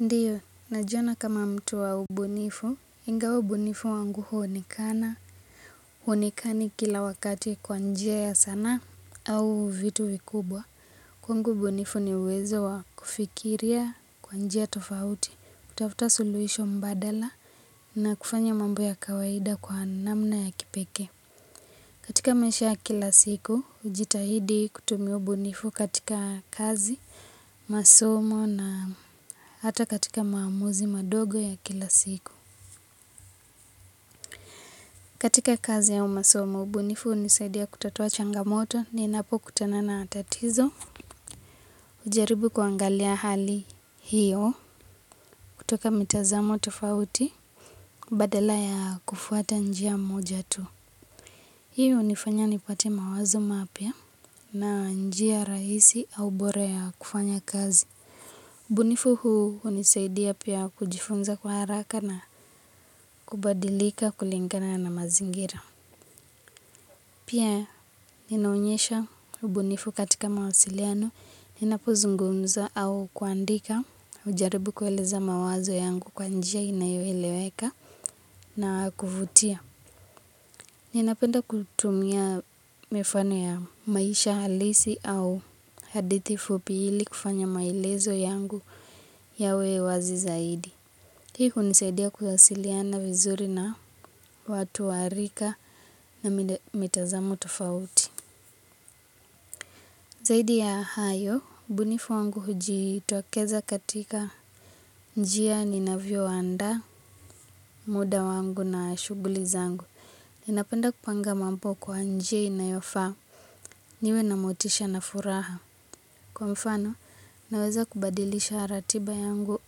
Ndiyo, najiona kama mtu wa ubunifu, ingawa ubunifu wangu huonekana, huonekani kila wakati kwa njia ya sanaa au vitu vikubwa. Kwangu ubunifu ni uwezo wa kufikiria kwa njia ya tofauti, kutafuta suluhisho mbadala na kufanya mambo ya kawaida kwa namna ya kipekee. Katika maisha kila siku, hujitahidi kutumia ubunifu katika kazi, masomo na hata katika maamuzi madogo ya kila siku. Katika kazi au masomo, ubunifu hunisaidia kutatua changamoto ninapokutanana na tatizo. Hujaribu kuangalia hali hiyo kutoka mitazamo tofauti badala ya kufuata njia moja tu. Hiyo hunifanya nipate mawazo mapya na njia rahisi au bora ya kufanya kazi. Ubunifu huu hunisaidia pia kujifunza kwa haraka na kubadilika kulingana na mazingira. Pia ninaonyesha ubunifu katika mawasiliano, ninapozungumza au kuandika, hujaribu kueleza mawazo yangu kwa njia inayoeleweka na kuvutia. Ninapenda kutumia mifano ya maisha halisi au hadithi fupi ili kufanya maelezo yangu yawe wazi zaidi. Hii hunisaidia kuwasiliana vizuri na watu wa rika na mitazamo tofauti. Zaidi ya hayo, ubunifu wangu hujitokeza katika njia ninavyoandaa muda wangu na shughuli zangu. Ninapenda kupanga mambo kwa njia inayofaa, niwe na motisha na furaha. Kwa mfano, naweza kubadilisha ratiba yangu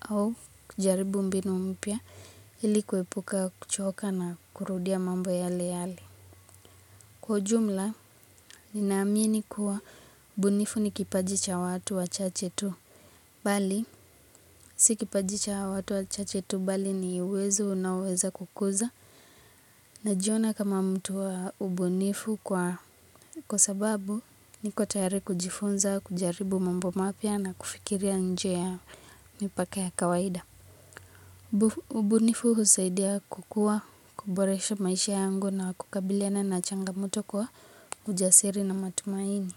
au kujaribu mbinu mpya ili kuepuka kuchoka na kurudia mambo yale yale. Kwa ujumla, ninaamini kuwa ubunifu ni kipaji cha watu wachache tu. Bali, si kipaji cha watu wachache tu bali ni uwezo unaoweza kukuza. Najiona kama mtu wa ubunifu kwa, kwa sababu niko tayari kujifunza, kujaribu mambo mapya na kufikiria njia ya mipaka ya kawaida. Ubunifu husaidia kukua, kuboresha maisha yangu na kukabiliana na changamoto kwa ujasiri na matumaini.